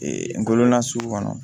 ngɔlɔbana sugu kɔnɔ